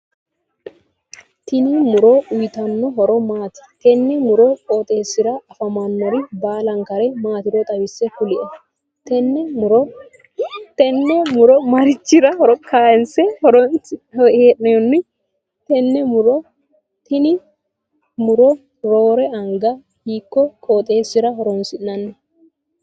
Tinni muro uyitano horo maati? Tenne muro qooxeesira afammanore baalankare maatiro xawise kuli? Tenne muro marichira kaanse hee'noonni? Tenne lmuro roore anga hiiko qooxeesira horoonsi'nanni?